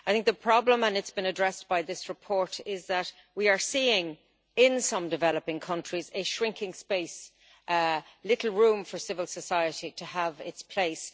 The problem and it has been addressed by this report is that we are seeing, in some developing countries, a shrinking space, with little room for civil society to have its place.